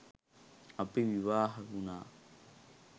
අපි විවාහ වුණා.